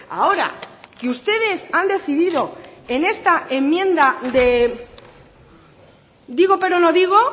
ahora que ustedes han decidido en esta enmienda de digo pero no digo